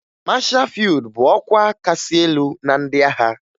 Mashaa fịyụd bụ ọkwa kasị elu na ndị agha